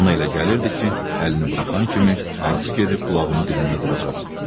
Ona elə gəlirdi ki, əlini buraxan kimi ağzı gedib qulağının dibində duracaq.